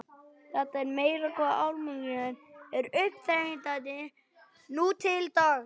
Það er meira hvað almúginn er uppáþrengjandi nú til dags.